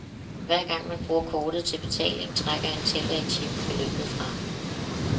Hver gang man bruger kortet til betaling, trækker en tæller i chippen beløbet fra.